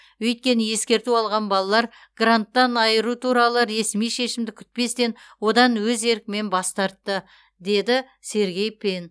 өйткені ескерту алған балалар гранттан айыру туралы ресми шешімді күтпестен одан өз еркімен бас тартты деді сергей пен